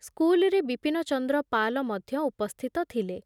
ସ୍କୁଲରେ ବିପିନଚନ୍ଦ୍ର ପାଲ ମଧ୍ୟ ଉପସ୍ଥିତ ଥିଲେ ।